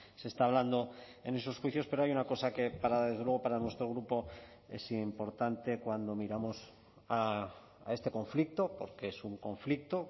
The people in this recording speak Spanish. se está hablando en esos juicios pero hay una cosa que para desde luego para nuestro grupo es importante cuando miramos a este conflicto porque es un conflicto